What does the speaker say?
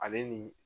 Ale ni